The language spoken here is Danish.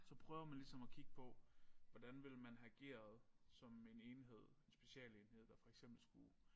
Så prøver man ligesom at kigge på hvordan ville man have ageret som en enhed en specialenhed der for eksempel skulle